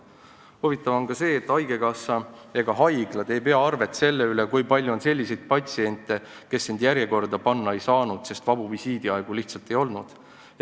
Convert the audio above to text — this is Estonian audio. Huvitav on ka see, et haigekassa ega haiglad ei pea arvet selle üle, kui palju on selliseid patsiente, kes end järjekorda panna ei saanud, sest vabu visiidiaegu lihtsalt ei olnud.